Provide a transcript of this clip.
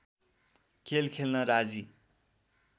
खेल खेल्न राजी